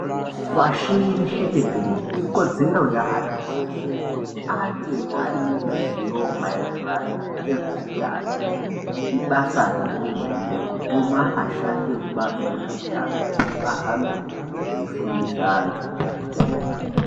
Pashireshe tenderere ikodzero yeantu eshe kuti ange aine ruzivo mayererano ngezveutano. Ibasa rehurumende kutuma ashandi ebazi rezveutano kuti vahambe veifundisa antu.